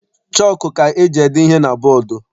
Chọku ka eji ede ihe na bọdu.